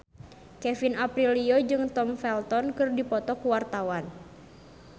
Kevin Aprilio jeung Tom Felton keur dipoto ku wartawan